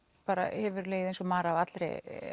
hefur legið eins og mar